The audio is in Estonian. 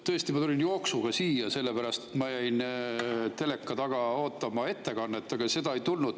Tõesti, ma tulin jooksuga siia, sellepärast et ma jäin teleka taga ootama ettekannet, aga seda ei tulnud.